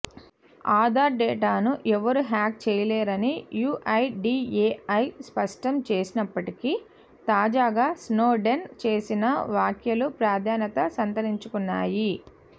ఆధార్ డేటాను ఎవరూ హ్యాక్ చేయలేరని యూఐడీఏఐ స్పష్టం చేస్తున్నప్పటికీ తాజాగా స్నోడెన్ చేసిన వ్యాఖ్యలు ప్రాధాన్యత సంతరించకున్నాయి